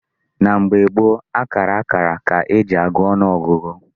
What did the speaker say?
N'oge gboo, akara akara ka e ji agụ ọnụ ọgụgụ.